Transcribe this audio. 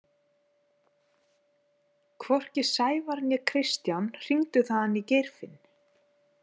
Hvorki Sævar né Kristján hringdu þaðan í Geirfinn.